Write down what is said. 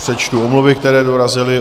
Přečtu omluvy, které dorazily.